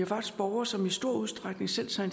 faktisk borgere som i stor udstrækning selv tager